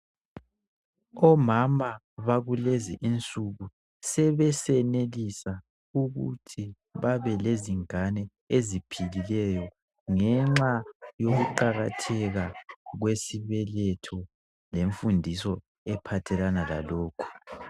Omama bakulezi insuku sebesenelisa ukuthi babe lezingane eziphilileyo ngenxa yokuqakatheka kwesibeletho lemfundiso ephathelana lalokho.